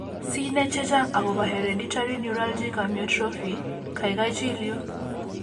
Sinai chechang agobo hereditary neuralgic amyotrophy, gaigai chil yu